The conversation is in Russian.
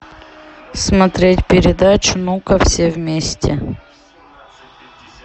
смотреть передачу ну ка все вместе